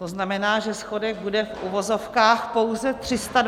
To znamená, že schodek bude, v uvozovkách pouze, 320 miliard.